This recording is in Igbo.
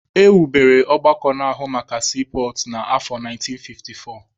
E wubere ọgbakọ na-ahụ maka siipọọtụ na afọ 1954.